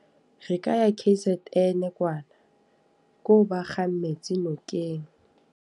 Re ka ya K_Z_N kwana. Koo ba kgang metsi nokeng.